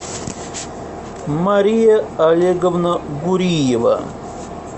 мария олеговна гуриева